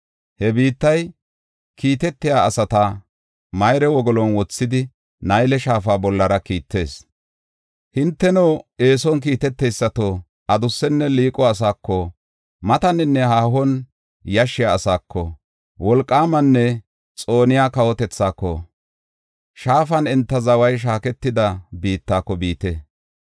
He biittay, kiitetiya asata mayre wogolon wothidi Nayle Shaafa bollara kiittees. Hinteno, eeson kiiteteysato, adusenne liiqo asaako, mataninne haahon yashshiya asaako, wolqaamanne xooniya kawotethaako, shaafan enta zaway shaaketida biittako biite.